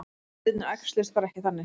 Hlutirnir æxluðust bara ekki þannig.